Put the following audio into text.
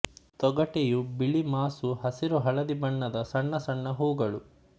ತೊಗಟೆಯು ಬಿಳಿ ಮಾಸು ಹಸಿರು ಹಳದಿ ಬಣ್ಣದ ಸಣ್ಣ ಸಣ್ಣ ಹೂಗಳು